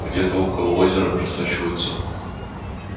где-то около озера просачиваются